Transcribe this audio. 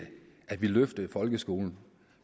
løftede folkeskolen